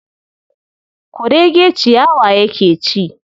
Kurege ciyawa yake ci.